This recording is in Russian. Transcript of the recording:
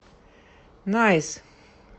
найс